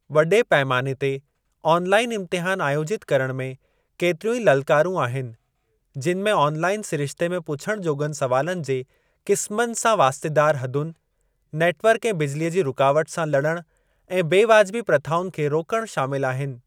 वॾे पैमाने ते ऑनलाईन इम्तिहान आयोजित करण में केतिरियूं ई ललकारूं आहिनि, जिनि में ऑनलाईन सिरिश्ते में पुछण जोॻनि सुवालनि जे क़िस्मनि सां वास्तेदार हदुनि, नेटवर्क ऐं बिजलीअ जी रुकावट सां लड़णु ऐं बेवाजिबी प्रथाउनि खे रोकणु शामिल आहिनि।